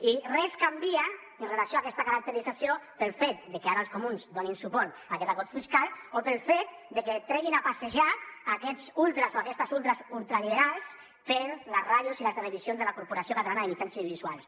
i res canvia amb relació a aquesta caracterització pel fet de que ara els comuns donin suport a aquest acord fiscal o pel fet de que treguin a passejar aquests ultres o aquestes ultres ultraliberals per les ràdios i les televisions de la corporació catalana de mitjans audiovisuals